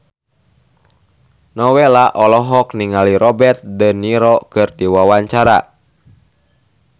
Nowela olohok ningali Robert de Niro keur diwawancara